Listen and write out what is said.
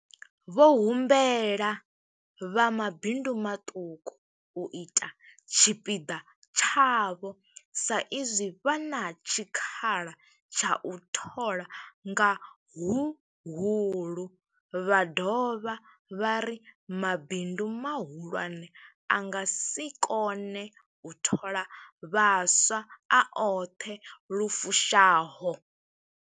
Vho humbela vha mabindu maṱuku u ita tshipiḓa tshavho sa izwi vha na tshikhala tsha u thola nga huhulu, vha dovha vha ri mabindu mahulwane a nga si kone u thola vhaswa a oṱhe lu fushaho.